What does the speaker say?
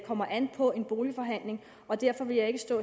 kommer an på en boligforhandling derfor vil jeg ikke stå